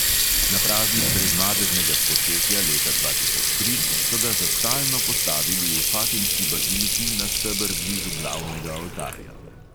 Na praznik brezmadežnega spočetja leta dva tisoč tri so ga za stalno postavili v fatimski baziliki na steber blizu glavnega oltarja.